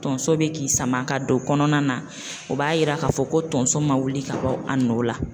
Tonso be k'i sama ka don kɔnɔna na o b'a yira k'a fɔ ko tonso ma wuli ka bɔ a nɔ la.